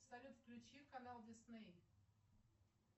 салют включи канал дисней